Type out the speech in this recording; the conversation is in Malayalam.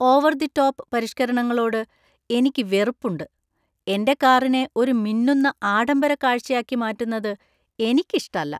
ഓവർ ദി ടോപ്പ് പരിഷ്ക്കരണങ്ങളോട് എനിക്ക് വെറുപ്പ് ഉണ്ട്. എൻ്റെ കാറിനെ ഒരു മിന്നുന്ന, ആഡംബര കാഴ്ചയാക്കി മാറ്റുന്നത് എനിക്കിഷ്ടല്ല.